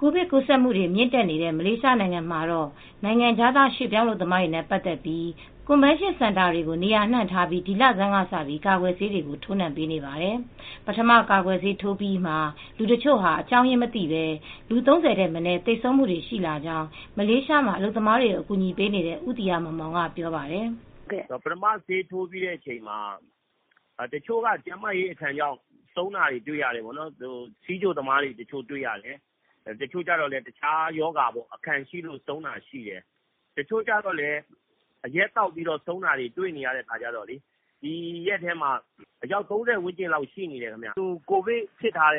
ကိုဗစ်ကူးစက်မူတွေမြင့်တက်တဲ့မလေးရှားနိုင်ငံတော့ နိုင်ငံခြားသားရွှေပြောင်းအလုပ်သမားတွေနဲ့ပတ်သက်ပြီး CONVENTION CENTRE တွေကိုနေရာအနှံ့ဒီလဆန်းကစပြီး ကာကွယ်ဆေးကိုထိုးနှံပေးနေပါတယ်။ ပထမကာကွယ်ဆေးထိုးနံှ မှုအပြီးမှလူ့တချို့ဟာအကြောင်းရင်းမသိပဲ လူ ၃၀ ထက်မနည်း သေဆုံးသူတွေ ရှိလာကြောင်း မလေးရှားမှာ အလုပ်သမားတွေကို အကူညီပေးနေတဲ့ ဦးသီဟမောင်မောင်ကပြောပါတယ်။ "ပထမ ဆေးထိုးကြည့်တဲ့အချိန်မှာ ဆီးချိုသမားတွေဆုံးတာတွေ တွေရတယ်။ တချို့ က ကျန်းမာရေးအခံရှိလို့ဆုံးပါးတာတွေ့ရတယ်။ အရက်သောက်ပြီးဆုံးတာလည်းတွေ့နေရတော့ ဒီရက်ထဲမှာအယောက် ၃၀ လောက်တောင်ဖြစ်နေတယ်။ ကိုဗစ်ဖြစ်ပြီး